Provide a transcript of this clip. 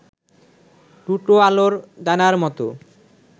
দুটো আলোর দানার মতো